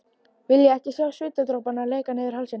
Vilja ekki sjá svitadropana leka niður hálsinn.